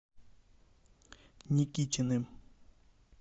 никитиным